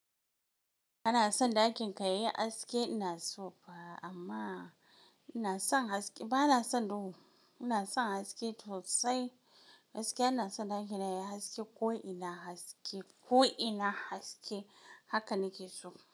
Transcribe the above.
Kana son ɗakin kayi haske ina so ba amma ina son haske bana son duhu. Ina son haske tosai haske bana son ɗakin yayi haske ko ina haske ko ina haske haka nake so.